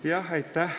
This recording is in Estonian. Aitäh!